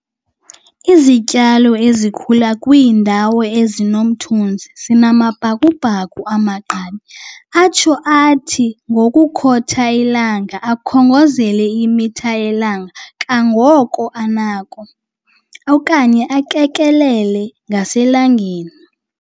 Izityalo ezikhula kwiindawo ezinomthunzi zinamabhakubhaku amagqabi atsho athi ngokotha ilanga akhongozele imitha yelanga kangoko anakho, okanye akekelele ngaselangeni.